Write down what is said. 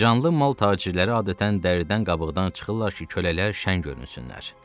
Canlı mal tacirləri adətən dəridən qabıqdan çıxırlar ki, kölələr şəng görünsünlər.